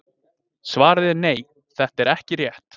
Svarið er nei, þetta er ekki rétt.